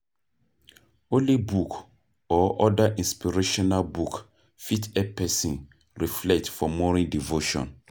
Holy book or oda inspirational book fit help person reflect for morning devotion